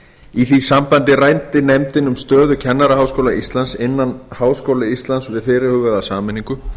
í því sambandi ræddi nefndin um stöðu kennaraháskóla íslands innan háskóla íslands við fyrirhugaða sameiningu